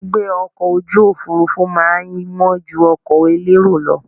Gbígbé ọkọ̀ ojú òfurufú má a ń wọ́n ju ọkọ̀ elérò lọ